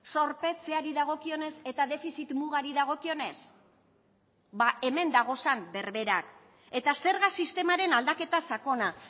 zorpetzeari dagokionez eta defizit mugari dagokionez ba hemen dagozan berberak eta zerga sistemaren aldaketa sakona